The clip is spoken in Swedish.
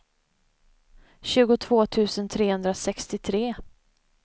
tjugotvå tusen trehundrasextiotre